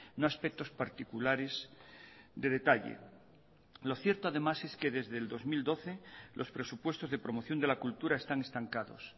no aspectos particulares de detalle lo cierto además es que desde el dos mil doce los presupuestos de promoción de la cultura están estancados